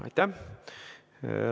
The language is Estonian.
Aitäh!